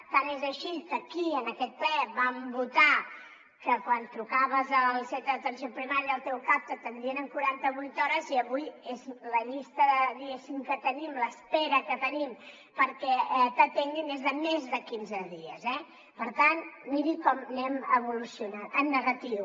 tant és així que aquí en aquest ple vam votar que quan trucaves al centre d’atenció primària al teu cap t’atendrien en quaranta vuit hores i avui la llista diguéssim que tenim l’espera que tenim perquè t’atenguin és de més de quinze dies eh per tant miri com anem evolucionant en negatiu